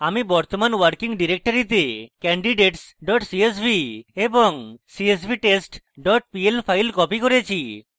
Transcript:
আমি বর্তমানে working ডিরেক্টরিতে candidates csv এবং csvtest pl file copied করেছি